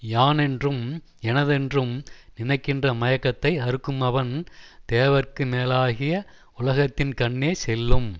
யானென்றும் எனதென்றும் நினைக்கின்ற மயக்கத்தை அறுக்குமவன் தேவர்க்கு மேலாகிய உலகத்தின் கண்ணே செல்லும்